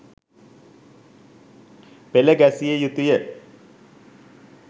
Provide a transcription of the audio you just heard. පෙළ ගැසිය යුතුය.